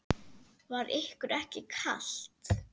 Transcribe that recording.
Var ykkur ekki kalt?